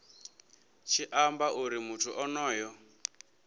tshi amba uri muthu onoyo